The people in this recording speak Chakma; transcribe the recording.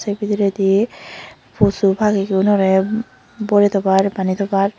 ey bidiredi posu pagi gunore bore tobar bani tobar.